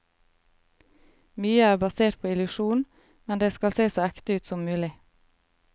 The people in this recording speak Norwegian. Mye er basert på illusjon, men det skal se så ekte ut som mulig.